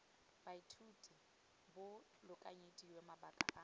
baithuti bo lekanyediwe mabaka ano